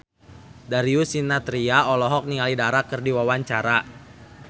Darius Sinathrya olohok ningali Dara keur diwawancara